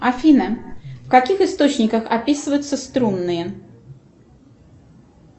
афина в каких источниках описываются струнные